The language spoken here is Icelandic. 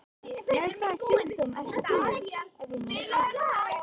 Með hvaða sjúkdóm ert þú, ef ég má spyrja?